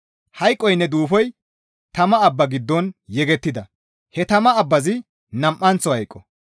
Hayqoynne Duufoy tama abba giddo yegettida; he tama abbazi nam7anththo hayqo.